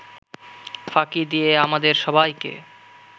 ফাঁকি দিয়ে আমাদের সবাইকে